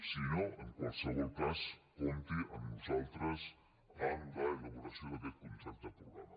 si no en qualsevol cas compti amb nosaltres en l’elaboració d’aquest contracte programa